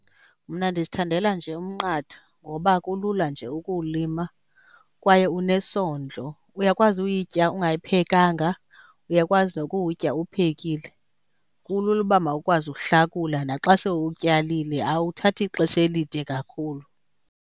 Mna ndizithandela nje umnqathe ngoba kulula nje ukuwulima kwaye unesondlo. Uyakwazi uyitya ungayiphekanga, uyakwazi nokuwutya uwuphekile. Kulula uba mawukwazi uhlakula naxa sewuwutyalile, awuthathi xesha elide kakhulu.